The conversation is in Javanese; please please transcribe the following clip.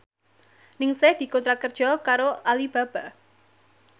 Ningsih dikontrak kerja karo Alibaba